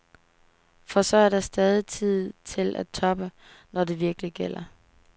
For så er der stadig tid til at toppe, når det virkelig gælder.